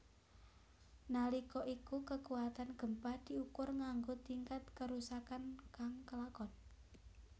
Nalika iku kekutan gempa diukur nganggo tingkat kerusakan kang kelakon